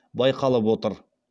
байқалып отыр